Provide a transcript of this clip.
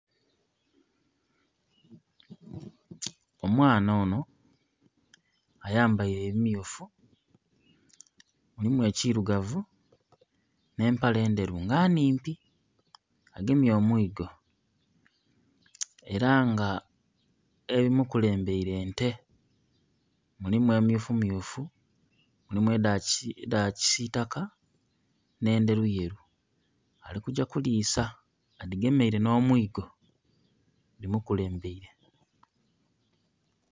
Omwaana onho ayambaire ebimyufu mulimu ekirugavu nhe empale endheru nga nnhimpi agemye omwigo era nga ebi mukulembaire nte, mulimu emyufu myufu, mulimu edha kisitaka nhe endheru yeru ali kugya kulisaa adhigemeire nho omwigo dhi mukulembaire.